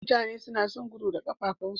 Mutane nason gudu da kafafin su